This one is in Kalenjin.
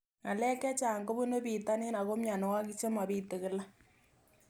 Ng'alek chechang' kopunu pitonin ako mianwogik che mapitu kila